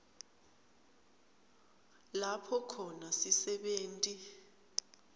lapho khona sisebenti